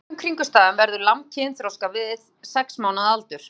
Undir venjulegum kringumstæðum verður lamb kynþroska við sex mánaða aldur.